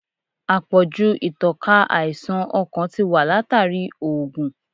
Àpọ̀jù ìtànká àìsàn ọkàn ti wà látàrí oògun.